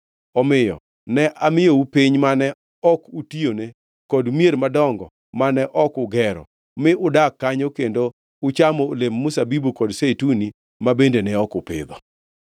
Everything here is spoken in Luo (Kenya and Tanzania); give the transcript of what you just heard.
Omiyo ne amiyou piny mane ok utiyone kod mier madongo mane ok ugero; mi udak kanyo kendo uchamo olemb mzabibu kod zeituni ma bende ne ok upidho.’